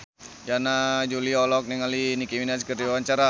Yana Julio olohok ningali Nicky Minaj keur diwawancara